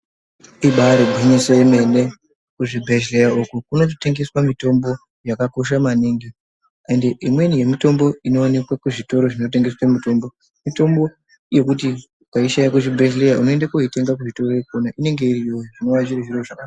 Ibari gwinyiso remene kuzvibhedhlera uko kunototengeswa mitombo yakakosha maningi ende imweni yemitombo inoonekwa kuzvitoro zvinotengeswa mitombo. Mitombo yekuti ukaishaya kuchibhedhlera unoende kooitenga kuzvitoro ikwona iyoyo inenge iriyo zvinova zviri zviro zvakabanaka.